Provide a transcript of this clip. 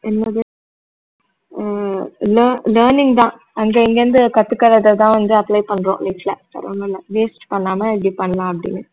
என்னது அஹ் learn~ learning தான் அங்க இங்கிருந்து கத்துகுறத தான் வந்து apply பண்றோம் வேற ஒண்ணும் இல்ல waste பண்ணாம இப்படி பண்ணலாம் அப்படின்னு